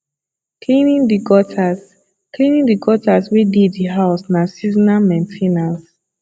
cleaning the gutters cleaning the gutters wey dey di house na seasonal main ten ance